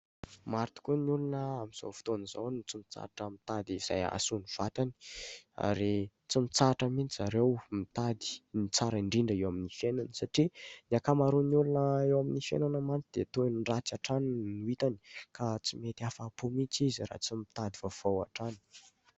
Maro tokoa ny olona amin'izao fotoana izao no tsy mitsahatra mitady izay mahasoa ny vatany. Ary tsy mitsahatra mihitsy zareo mitady ny tsara indrindra eo amin' ny fiainany. Satria ny ankamaroan' ny olona eo amin'ny fiainana mantsy dia toa ny ratsy hatrany ny no hitany, ka tsy mety afa- po mihitsy izy, raha tsy mitady vaovao hatrany.